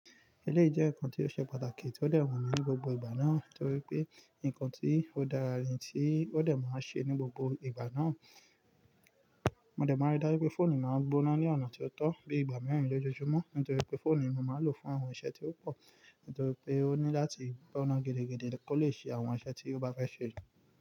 Eleii jẹ́ nnkan tí ó ṣe pàtàkì tí ó dẹ̀ wà ní gbogbo ìgbà náà, nítorí pé nnkan tí ó dára, tí ó dẹ̀ máa ṣe ní gbogbo ìgbà náà. Mo dẹ̀ maa ri dá pé fóònù máa ń gbóná ní ọ̀nà tí ó tó, bíi ìgbà mìíràn lójoojúmọ́, nítorí pé fóònù ni mo máa ń lò fún àwọn iṣẹ́ tí ó pò, nítorí pé ó ní láti gbóná gidi gidi kó lè ṣe àwọn iṣẹ́ tí ó bá fẹ́ ṣe.